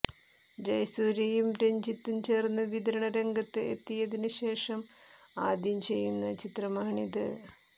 ജയസൂര്യയും രഞ്ജിത്തും ചേര്ത്ത് വിതരണ രംഗത്ത് എത്തിയതിന് ശേഷം ആദ്യം ചെയ്യുന്ന ചിത്രമാണിത്